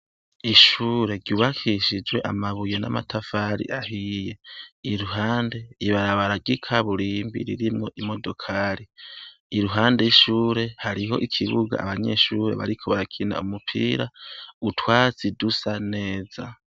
Ishure ryubakishijwe amabuye n'amatafari ahiye. Iruhande, ibarabara ry'ikaburimbi ririmwo imodokari. Iruhande y'ishure hariho ikibuga abanyeshure bariko barakina umupira, utwatsi dusa neza.